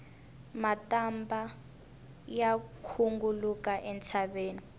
matambha ya khunguluka entshaveni